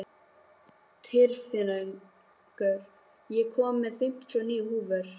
Tyrfingur, ég kom með fimmtíu og níu húfur!